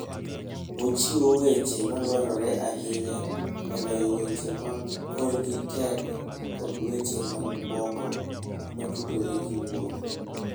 Ochiwo weche madwarore ahinya e loyo weche ma korgi tek kod weche mamoko motudore gi wuoth.